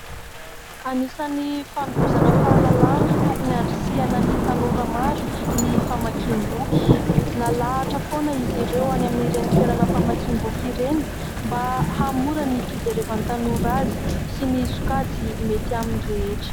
Anisan'ny fanovozana fahalalana tokony andrisihana ny tanora maro ny famakiam-boky. Nalahatra foana izy ireo any amin'ireny toerana famakiam-boky ireny mba hamora ny fijerevan'ny tanora azy sy ny sokajy mety aminy rehetra.